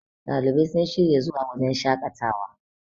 ɗalibai sun shirya zuwa wajen shaƙatawa